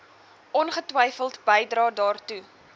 ongetwyfeld bydrae daartoe